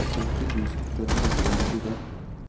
femti tusen fem hundre og nittifem